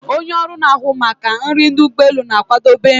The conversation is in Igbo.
Onye ọrụ na-ahụ maka nri ụgbọ elu na-akwadebe nri